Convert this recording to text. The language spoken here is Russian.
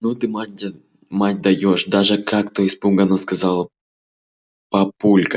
ну ты мать даёшь даже как-то испуганно сказал папулька